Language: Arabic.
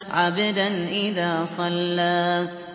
عَبْدًا إِذَا صَلَّىٰ